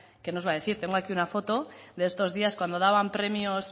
qué nos va a decir tengo aquí una foto de estos días cuando daban premios